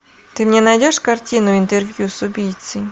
ты мне найдешь картину интервью с убийцей